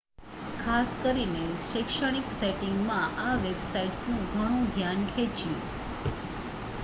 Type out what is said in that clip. ખાસ કરીને શૈક્ષણિક સેટિંગમાં આ વેબસાઇટ્સનું ઘણું ધ્યાન ખેચ્યું